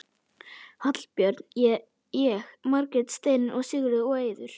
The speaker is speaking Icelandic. Hallbjörn, ég, Margrét, Steinunn, Sigríður og Eiður.